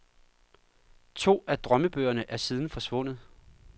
To af drømmebøgerne er siden forsvundet.